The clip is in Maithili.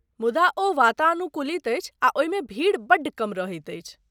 मुदा ओ वातानुकूलित अछि आ ओहिमे भीड़ बड्ड कम रहैत अछि।